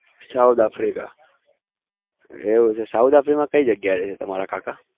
south africa એવું છે south africa માં કઈ જગ્યા એ રે છે